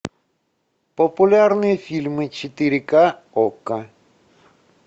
популярные фильмы четыре ка окко